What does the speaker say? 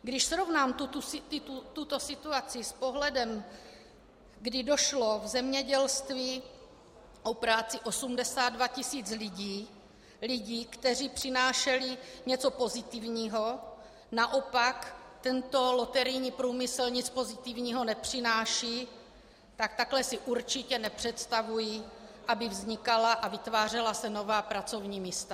Když srovnám tuto situaci s pohledem, kdy přišlo v zemědělství o práci 82 tisíc lidí, lidí, kteří přinášeli něco pozitivního, naopak, tento loterijní průmysl nic pozitivního nepřináší, tak takhle si určitě nepředstavuji, aby vznikala a vytvářela se nová pracovní místa.